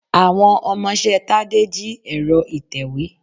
Àwọn ọmọṣẹ́ Tádé jí ẹ̀rọ ìtèwé.